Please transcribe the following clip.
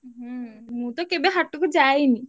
ହୁଁ ହୁଁ ମୁଁ ତ କେବେ ହାଟକୁ ଯାଇନି।